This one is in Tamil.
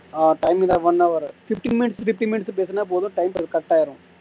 ஆஹ் timing தான் one hour fifteen minutes fifteen minutes பேசுனா போதும் time அது cut ஆயிரும்